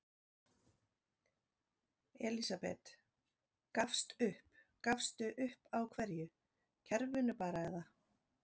Elísabet: Gafst upp, gafstu upp á hverju, kerfinu bara eða?